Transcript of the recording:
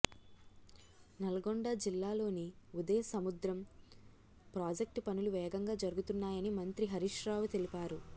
నల్లగొండ జిల్లాలోని ఉదయ సముద్రం ప్రాజెక్టు పనులు వేగంగా జరుగుతున్నాయని మంత్రి హరీష్రావు తెలిపారు